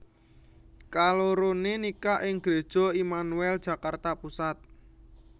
Kaloroné nikah ing Gereja Immanuel Jakarta Pusat